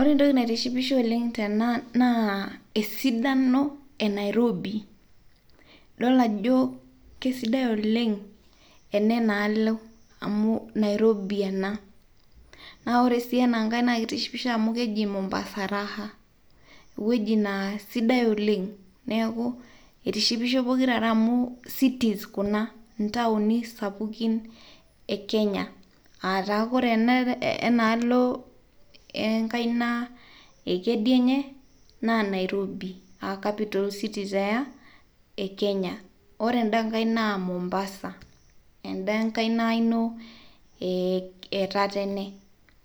Ore entoki naitishipisho oleng' tena naaa esidano enairobi, idol ajoo kesidai oleng' ene nealo amuu Nairobi ena, naa ore si ana nkae naa keitishipisho amuu keji Mombasa raha eweji naa sidai olen'g naaku eitishipisho pokira are amuu cities kuna ntaoni sapukin ekenya aataa kore ana enaalo enkaina ekidienye naa Nairobi aa capital city taa ekenya, ore enda nkae naa Mombasa enda enkaina ino ee tatene